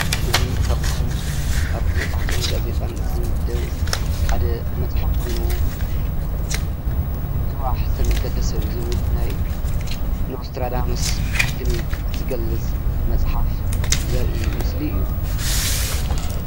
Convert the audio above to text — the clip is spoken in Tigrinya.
እዚ ካብቶም አብ መፅሓፍትን ጋዜጣን ዝምደብ ሓደ መፅሓፍ ኾይኑ ንፅባሕ ዝተመልከተ ሰብ ዝብል ናይ ኖስትራዳመስ ትንቢት ዝገልፅ መፅሓፍ ዘርኢ ምስሊ እዩ ።